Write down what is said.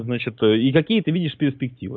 то значит и какие ты видишь перспективы